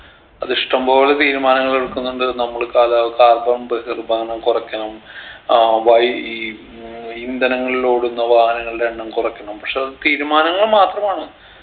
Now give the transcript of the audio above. അത് ഇഷ്ടം പോലെ തീരുമാനങ്ങൾ എടുക്കുന്നുണ്ട് നമ്മള് കാല carbon ബഹിരുപകരണം കൊറയ്ക്കണം അഹ് വയി ഈ ഉം ഇന്ധനങ്ങളിലോടുന്ന വാഹനങ്ങളുടെ എണ്ണം കുറയ്ക്കണം പക്ഷെ അത് തീരുമാനങ്ങൾ മാത്രമാണ്